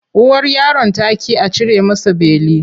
Uwar yaron ta ƙi a cire masa beli.